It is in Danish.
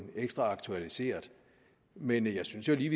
ekstra aktualiseret men jeg synes jo lige